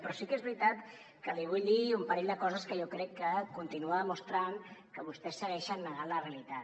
però sí que és veritat que li vull dir un parell de coses que jo crec que continuen mostrant que vostès segueixen negant la realitat